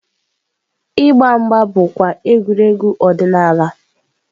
Ịgba mgba bụkwa egwuregwu ọdịnala.